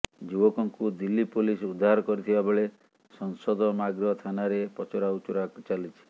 ଯୁବକଙ୍କୁ ଦିଲ୍ଲୀ ପୋଲିସ ଉଦ୍ଧାର କରିଥିବା ବେଳେ ସଂସଦ ମାର୍ଗ ଥାନାରେ ପଚରାଉଚୁରା ଚାଲିଛି